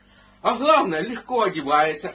а главное легко одевается